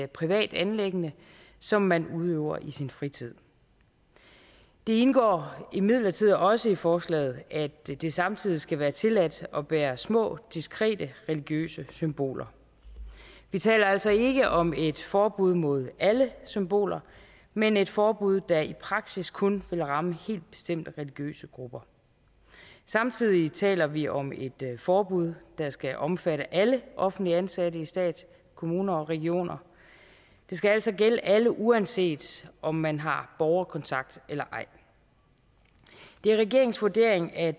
privat anliggende som man udøver i sin fritid det indgår imidlertid også i forslaget at det det samtidig skal være tilladt at bære små diskrete religiøse symboler vi taler altså ikke om et forbud mod alle symboler men et forbud der i praksis kun vil ramme helt bestemte religiøse grupper samtidig taler vi om et forbud der skal omfatte alle offentligt ansatte i stat kommuner og regioner det skal altså gælde alle uanset om man har borgerkontakt eller ej det er regeringens vurdering at